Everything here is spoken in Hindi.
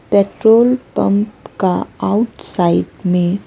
पेट्रोल पंप का आउटसाइड में--